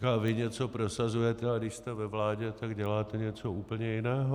Říkal: Vy něco prosazujete, a když jste ve vládě, tak děláte něco úplně jiného.